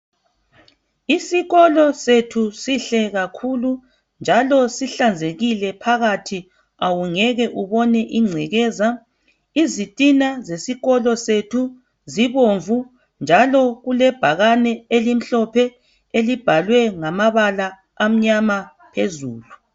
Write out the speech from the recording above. Isikolo sethu sihle kakhulu njalo sihlanzekile phakathi awungeke ubone ingcekeza. Izitina besikolo sethu zibomvu njalo kulebhakane elimhlophe elibhalwe ngamabala amnyama phezulu.